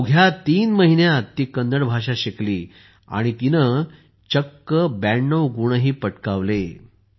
अवघ्या तीन महिन्यांत ती कन्नड भाषा तर शिकलीच पण तिने चक्क 92 वा क्रमांकही पटकावला